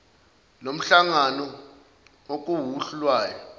lomhlangano okuwuhlu lwayo